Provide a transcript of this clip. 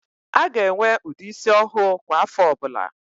A ga-enwe ụdị ísí ọhụụ kwa áfọ̀ ọbụla.